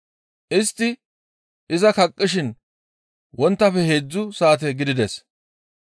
Istti iza kaqqishin wonttafe heedzdzu saate gidides.